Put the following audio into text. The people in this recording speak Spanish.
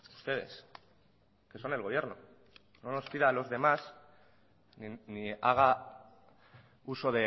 ustedes que son el gobierno no nos pida a los demás ni haga uso